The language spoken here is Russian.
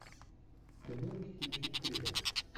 ты можешь включить триллер